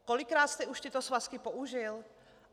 Kolikrát jste už tyto svazky použil?